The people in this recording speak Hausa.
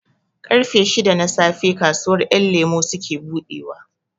Ƙarfe shida na safe kasuwar ƴan lemo suke buɗewa